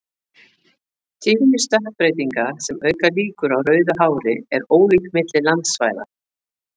Tíðni stökkbreytinga sem auka líkur á rauðu hári er ólík milli landsvæða.